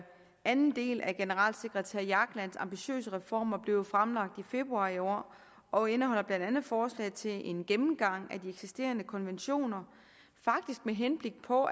anden del af generalsekretær jaglands ambitiøse reformer blev jo fremlagt i februar i år og indeholder blandt andet forslag til en gennemgang af de eksisterende konventioner med henblik på